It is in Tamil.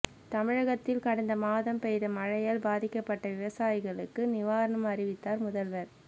தமிழகத்தில் கடந்த மாதம் பெய்த மழையால் பாதிக்கப்பட்ட விவசாயிகளுக்கு நிவாரணம் அறிவித்தார் முதல்வர்